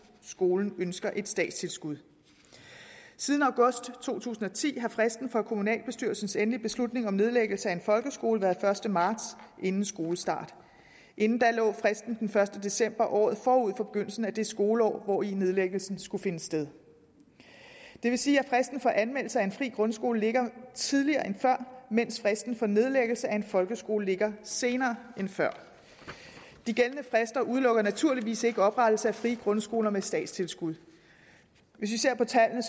skolen ønsker et statstilskud siden august to tusind og ti har fristen for kommunalbestyrelsens endelige beslutning om nedlæggelse af en folkeskole været første marts inden skolestart inden da lå fristen den første december i året forud for begyndelsen af det skoleår hvori nedlæggelsen skulle finde sted det vil sige at fristen for anmeldelse af en fri grundskole ligger tidligere end før mens fristen for nedlæggelse af en folkeskole ligger senere end før de gældende frister udelukker naturligvis ikke oprettelse af frie grundskoler med et statstilskud hvis vi ser på tallene